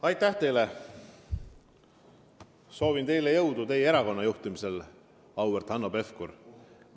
Aitäh teile ja soovin jõudu oma erakonna juhtimisel, auväärt Hanno Pevkur!